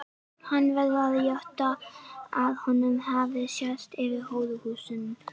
Hann verður að játa að honum hafi sést yfir hóruhúsin.